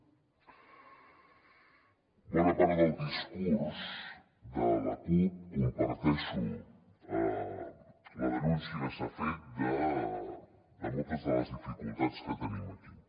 de bona part del discurs de la cup comparteixo la denúncia que s’ha fet de moltes de les dificultats que tenim aquí